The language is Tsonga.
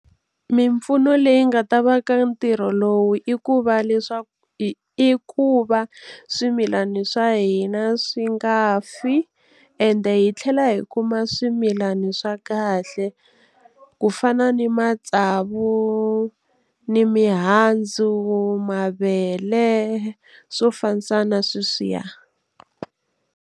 Mimpfuno leyi nga ta va ka ntirho lowu i ku va leswaku i ku va swimilana swa hina swi nga fi ende hi tlhela hi kuma swimilani swa kahle ku fana ni matsavu, ni mihandzu, mavele swo fambisana sweswiya.